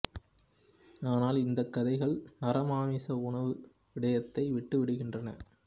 ஆனால் இந்த கதைகள் நரமாமிச உணவு விடயத்தை விட்டு விடுகின்றன